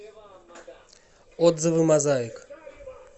отзывы мозаик